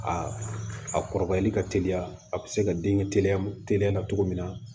A kɔrɔbayali ka teliya a bɛ se ka den teliya teliya la cogo min na